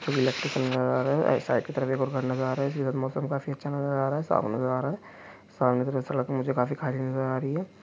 एक इलैक्ट्रिक नजर आ रहा है अ साईड की तरफ एक और घर नजर आ रहा है इधर मौसम काफी अच्छा नजर आ रहा है साफ नजर आ रहा है सामने से जो सड़क मुझे काफी खाली नजर आ रही है।